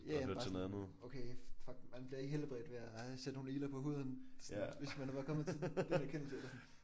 Ja ja men bare sådan noget okay fuck man bliver ikke helbredt ved at sætte nogle igler på huden. Det er sådan hvis man var kommet til den erkendelse eller sådan